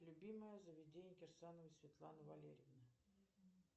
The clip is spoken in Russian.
любимое заведение кирсановой светланы валерьевны